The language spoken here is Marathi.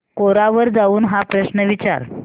कोरा वर जाऊन हा प्रश्न विचार